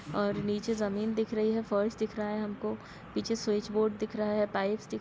ओर नीचे जमीन दिख रही है फार्स दिख रहा है हमको पीछे स्विच बोर्ड दिख रहा है पाइप्स दिख--